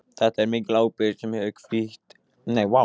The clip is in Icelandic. Þetta er mikil ábyrgð sem hefur hvílt á mér síðan.